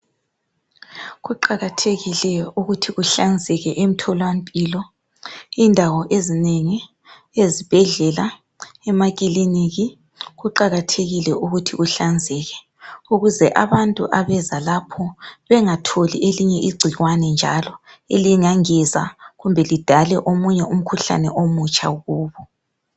Kuqakathekile ukuthi kuhlanzeke emtholampilo. Indawo ezinengi ezibhedlela, emakiliniki kuqakathekile ukuthi kuhlanzeke ukuze abantu abeza lapho bengatholi elinye igcikwane njalo elingengeza kumbe lidale omunye umkhuhlane omutsha kubo.